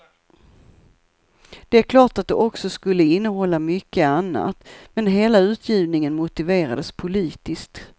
Det är klart att de också skulle innehålla mycket annat, men hela utgivningen motiverades politiskt.